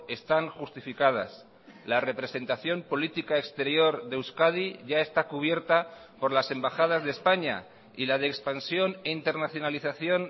están justificadas la representación política exterior de euskadi ya está cubierta por las embajadas de españa y la de expansión e internacionalización